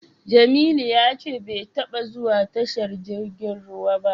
Jamilu ya ce bai taba zuwa tashar jirgin ruwa ba.